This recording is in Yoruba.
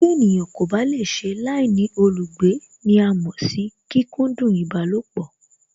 Tí ènìyàn kò bá lè ṣe láìní olùgbé ní à mọ̀ sí kíkúndún ìbálòpọ̀